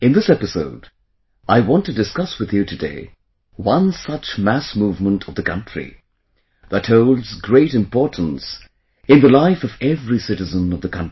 In this episode, I want to discuss with you today one such mass movement of the country, that holds great importance in the life of every citizen of the country